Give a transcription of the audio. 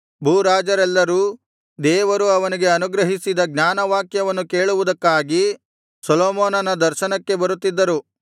ಭೂರಾಜರೆಲ್ಲರೂ ದೇವರು ಅವನಿಗೆ ಅನುಗ್ರಹಿಸಿದ ಜ್ಞಾನವಾಕ್ಯಗಳನ್ನು ಕೇಳುವುದಕ್ಕಾಗಿ ಸೊಲೊಮೋನ ದರ್ಶನಕ್ಕೆ ಬರುತ್ತಿದ್ದರು